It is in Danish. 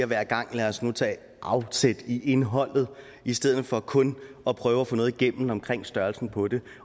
hver gang lad os nu tage afsæt i indholdet i stedet for kun at prøve at få noget igennem omkring størrelsen på det